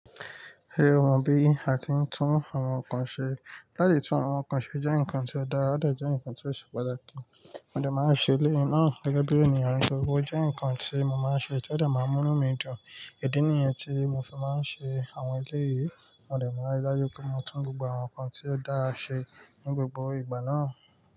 Ṣé o mọ bí a ti ń tún àwọn nǹkan ṣe? Láti tún àwọn nǹkan ṣe jẹ́ ǹkan tí ó dára, ó dẹ̀ jẹ́ ǹkan tí ó ṣe pàtàkì. Mo dẹ̀ máa ń ṣe eléyì náà gẹ́gẹ́ bí ènìyàn, nítorí pé ójé ǹkan tí mo máa ń ṣe, tí ó dẹ̀ máa ń mú nú mi dùn. Ìdí nìyẹn tí mo fi máa ń ṣe àwọn eléyìí, mo dẹ̀ máa ń rí dájú pé mo tún gbogbo àwọn nǹkan tí ó dára ṣe ní gbogbo ìgbà náà.